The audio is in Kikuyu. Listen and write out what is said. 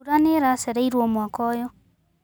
Mbura nĩiracereirwo mwaka ũyũ.